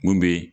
Mun bɛ